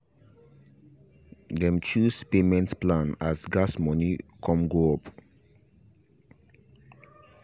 them chose payment plan as gas moni come go up